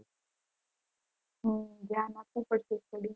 હમ ઘ્યાન આપવું પડશે